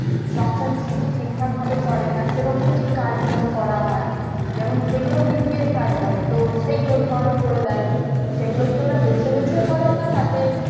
সংসার ঠিক ঠাক ভাবে চলে না সেরকম যে card গুলো করা হয় যেমন যেগুলো BPL card বলে তো সেগুলো ধর করে দেয় তো সেগুলা কি ওরা বেছেবেছে করে না তাদের